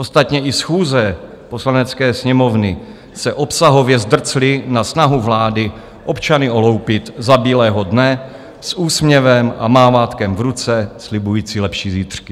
Ostatně i schůze Poslanecké sněmovny se obsahově zdrcly na snahu vlády občany oloupit za bílého dne s úsměvem a mávátkem v ruce, slibujíc lepší zítřky.